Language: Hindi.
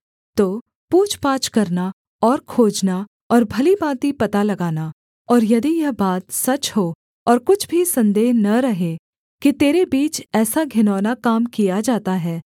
तो पूछपाछ करना और खोजना और भली भाँति पता लगाना और यदि यह बात सच हो और कुछ भी सन्देह न रहे कि तेरे बीच ऐसा घिनौना काम किया जाता है